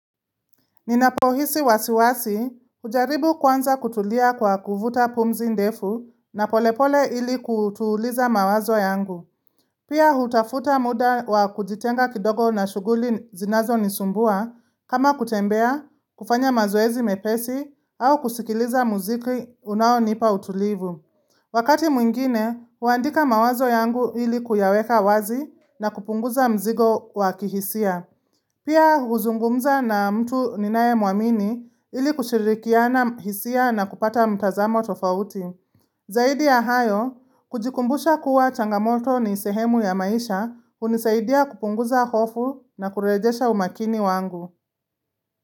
Ninapohisi wasiwasi, hujaribu kwanza kutulia kwa kuvuta pumzi ndefu na polepole ili kutuliza mawazo yangu. Pia hutafuta muda wa kujitenga kidogo na shuguli zinazo nisumbua, kama kutembea, kufanya mazoezi mepesi, au kusikiliza muziki unaonipa utulivu. Wakati mwingine, huandika mawazo yangu ili kuyaweka wazi na kupunguza mzigo wakihisia. Pia huzungumza na mtu ninaye mwamini ili kushirikiana hisia na kupata mtazamo tofauti. Zaidi ya hayo, kujikumbusha kuwa changamoto ni sehemu ya maisha hunisaidia kupunguza hofu na kurejesha umakini wangu.